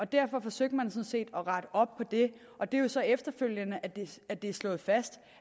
derfor forsøgte man sådan set at rette op på det og det er jo så efterfølgende at det er slået fast